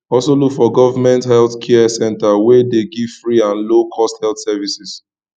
also look for government health care center we de give free or low cost health services